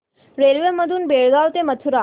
railway मधून बेळगाव ते मथुरा